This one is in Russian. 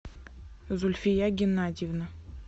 зульфия геннадьевна